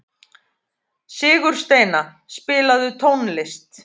Sigursteina, spilaðu tónlist.